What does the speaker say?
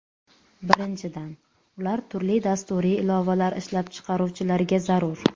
Birinchidan, ular turli dasturiy ilovalar ishlab chiqaruvchilarga zarur.